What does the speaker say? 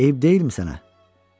Eyib deyilmi sənə?